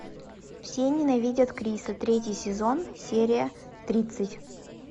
все ненавидят криса третий сезон серия тридцать